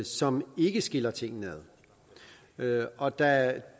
som ikke skiller tingene ad og da